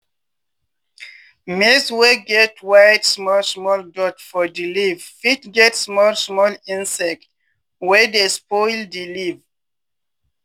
maize wey get white small small dot for di leave fit get small small insect wey dey spoil di leave.